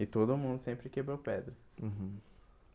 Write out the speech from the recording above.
E todo mundo sempre quebrou pedra. Uhum